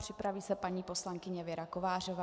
Připraví se paní poslankyně Věra Kovářová.